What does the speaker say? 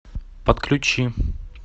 подключи